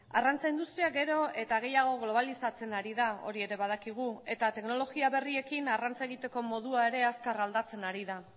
arrantza industria gero eta gehiago globalizatzen ari da hori ere badakigu eta teknologia berriekin arrantza egiteko modua ere azkar aldatzen ari da